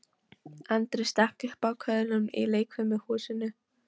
Andri stakk upp á köðlunum í leikfimishúsinu.